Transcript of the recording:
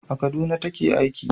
A Kaduna ta ke aiki